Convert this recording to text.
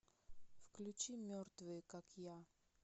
включи мертвые как я